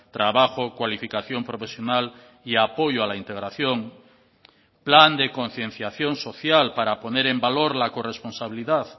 trabajo cualificación profesional y apoyo a la integración plan de concienciación social para poner en valor la corresponsabilidad